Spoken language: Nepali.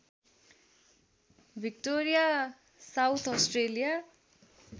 Victoria South Australia